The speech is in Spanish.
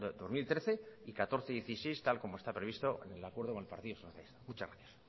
dos mil trece dos mil catorce y dos mil dieciséis tal como está previsto en el acuerdo con el partido socialista muchas gracias